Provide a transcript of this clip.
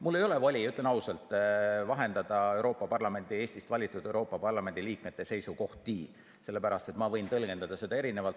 Mul ei ole voli, ütlen ausalt, vahendada Eestist valitud Euroopa Parlamendi liikmete seisukohti, sellepärast et ma võin tõlgendada neid erinevalt.